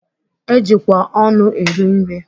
E jikwa ọnụ eri nri.